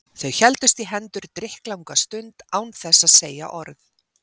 Þau héldust í hendur drykklanga stund án þess að segja orð.